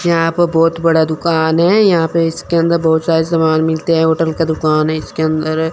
यहां प बहुत बड़ा दुकान है यहां पे इसके अंदर बहोत सारे सामान मिलते है होटल का दुकान है इसके अंदर--